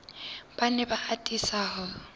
ba ne ba atisa ho